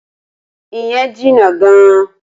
Ìyẹn jìnnà gan-an.